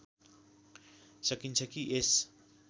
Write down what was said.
सकिन्छ कि यस